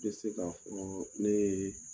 tɛ se k'a fɔ ne ye